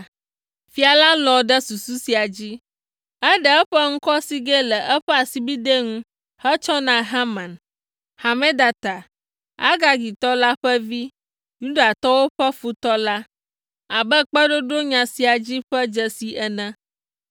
Fia la lɔ̃ ɖe susu sia dzi. Eɖe eƒe ŋkɔsigɛ le eƒe asibidɛ ŋu hetsɔ na Haman, Hamedata, Agagitɔ la ƒe vi, Yudatɔwo ƒe futɔ la, abe kpeɖoɖo nya sia dzi ƒe dzesi ene.